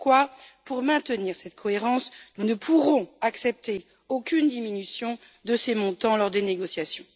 C'est pourquoi, pour maintenir cette cohérence, nous ne pourrons accepter aucune diminution de ces montants lors des négociations.